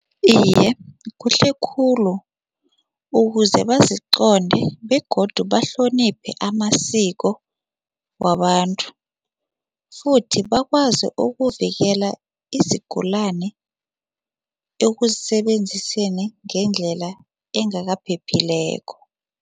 Iye, kuhle khulu ukuze baziqonde begodu bahloniphe amasiko wabantu futhi bakwazi ukuvikela izigulani ekusebenziseni ngendlela engakaphephileko.